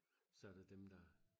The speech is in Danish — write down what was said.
så er der dem der